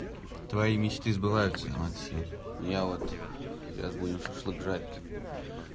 твои мечты сбываются максим ну я вот сейчас будем шашлык жарить